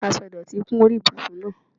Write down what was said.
Aṣọ ìdọ̀tí kún orí ibùsùn náà.